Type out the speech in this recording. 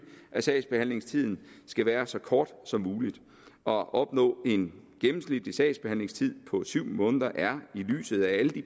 at sagsbehandlingstiden skal være så kort som mulig og at opnå en gennemsnitlig sagsbehandlingstid på syv måneder er i lyset af alle de